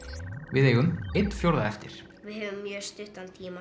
við eigum einn fjórða eftir við höfum mjög stuttan tíma